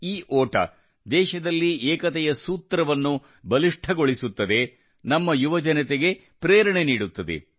ಈ ಓಟ ದೇಶದಲ್ಲಿ ಏಕತೆಯ ಸೂತ್ರವನ್ನು ಬಲಿಷ್ಠಗೊಳಿಸುತ್ತದೆ ನಮ್ಮ ಯುವಜನತೆಗೆ ಪ್ರೇರಣೆ ನೀಡುತ್ತದೆ